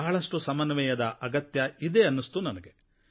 ಬಹಳಷ್ಟು ಸಮನ್ವಯದ ಅಗತ್ಯ ಇದೆ ಅನ್ನಿಸ್ತು ನನಗೆ